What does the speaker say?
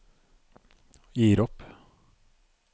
gir opp